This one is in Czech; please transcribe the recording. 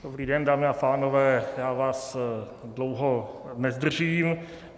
Dobrý den, dámy a pánové, já vás dlouho nezdržím.